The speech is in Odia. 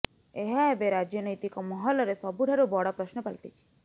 ଏହା ଏବେ ରାଜନୈତିକ ମହଲରେ ସବୁଠାରୁ ବଡ ପ୍ରଶ୍ନ ପାଲଟିଛି